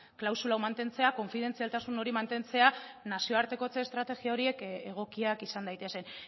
klausula hau mantentzea konfidentzialtasun hori mantentzea nazioartekotze estrategia horiek egokiak izan daitezen